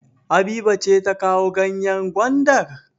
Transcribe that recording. Habiba ce ta kawo ganyen gwandar?